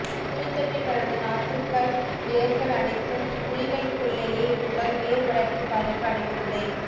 குழித்தட்டில் வளர்ந்த நாற்றுக்கள் வேர்கள் அனைத்தும் குளிகளுக்குள்ளேயேஇருப்பதால் வேர் வளர்ச்சி பாதிப்பு அடைவதில்லை